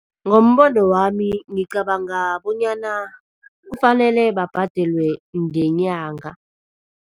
Ngombono wami ngicabanga bonyana kufanele babhadelwe ngenyanga.